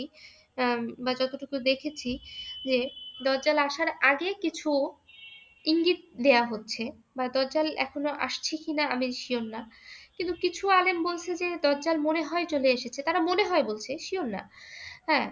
আহ বা যতটুকু দেখেছি যে দাজ্জাল আসার আগে কিছু ইঙ্গিত দেওয়া হচ্ছে বা দাজ্জাল এখনো আসছে কি না আমি sure না। কিন্তু কিছু আলেম বলছে যে দাজ্জাল মনে হয় চলে এসেছে, তারা মনে হয়ে বলছে। sure না। হ্যাঁ?